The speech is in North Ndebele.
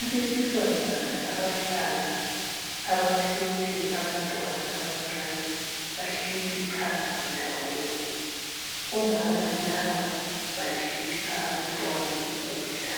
Abesifazana abahlanu abaphethe abantwana abancane bahleli phansi ndawonye. Umama laba badlisa abantwana ukudla